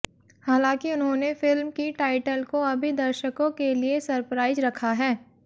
हालांकि उन्होंने फिल्म की टाईटल को अभी दर्शको के लिए सरप्राइज रखा है